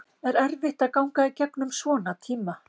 Er erfitt að ganga í gegnum svona tíma?